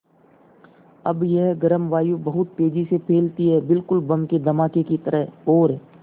अब यह गर्म वायु बहुत तेज़ी से फैलती है बिल्कुल बम के धमाके की तरह और